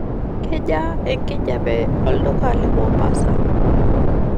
kejaa enkijape olduka le mombasa